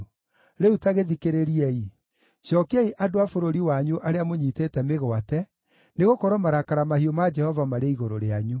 Rĩu ta gĩthikĩrĩriei! Cookiai andũ a bũrũri wanyu arĩa mũnyiitĩte mĩgwate, nĩgũkorwo marakara mahiũ ma Jehova marĩ igũrũ rĩanyu.”